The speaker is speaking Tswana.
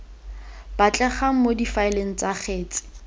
batlegang mo difaeleng tsa kgetse